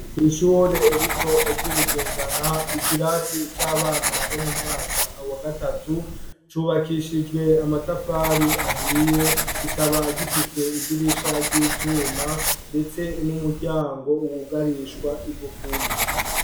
Kw'ishure rito ry'ibugendana ikirasi c'abana bo mu mwaka wa gatatu cubakishijwe amatafari ahiye kikaba gifise idirisha ry'ivyuma ndetse n'umuryango wugarishwa igufuri.